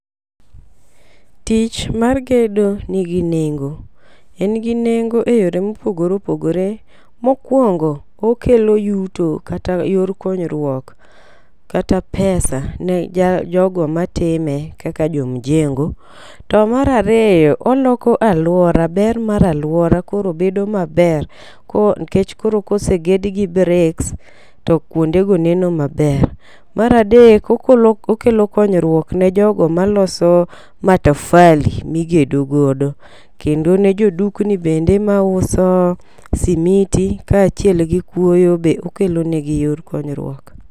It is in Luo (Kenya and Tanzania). Tich mar gedo nigi nengo, en gi nengo e yore mopogore opogore. Mokwongo kelo yuto kata yor konyruok kata pesa ne ja jogo matime kaka jo mjengo. To mar ariyo oloko aluora ber mar aluora koro bedo maber ko kech koro koseged gi bricks to kuonde go neno maber. Mar adek okolo okelo konyruok ne jogo maloso matafali migedo godo ,kendo ne jodukni bende mauso simiti kachiel gi kuoyo be okelo negi yor konyruok.